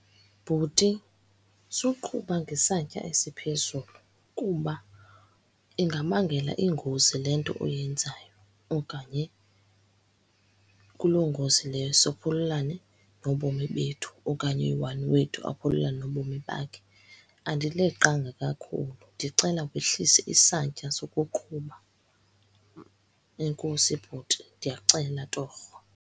Bhuti, suqhuba ngesantya esiphezulu, kuba ingabangela iingozi le nto uyenzayo. Okanye kuloo ngozi leyo sophululane nobomi bethu, okanye oyi-one wethu aphululane nobomi bakhe. Andileqanga kakhulu, ndicela wehlise isantya sokuqhuba. Enkosi bhuti, ndiyacela torho.